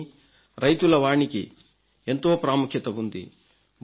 కానీ రైతుల వాణికి ఎంతో ప్రాముఖ్యత ఉంది